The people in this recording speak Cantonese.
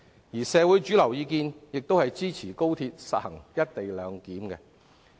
而社會主流意見亦支持高鐵實行"一地兩檢"。